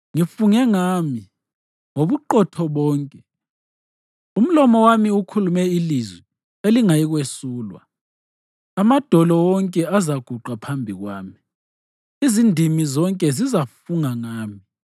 Ngifunge ngami, ngobuqotho bonke umlomo wami ukhulume ilizwi elingayikwesulwa. Amadolo wonke azaguqa phambi kwami; izindimi zonke zizafunga ngami.